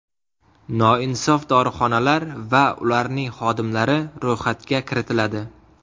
Noinsof dorixonalar va ularning xodimlari ro‘yxatga kiritiladi.